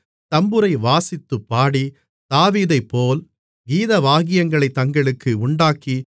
தம்புரை வாசித்துப் பாடி தாவீதைப்போல் கீதவாத்தியங்களைத் தங்களுக்கு உண்டாக்கி